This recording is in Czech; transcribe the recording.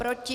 Proti?